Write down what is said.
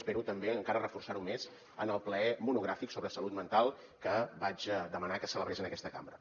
espero també encara reforçar ho més en el ple monogràfic sobre salut mental que vaig demanar que se celebrés en aquesta cambra